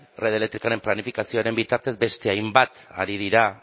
red elektrikoaren planifikazioaren bitartez beste hainbat ari dira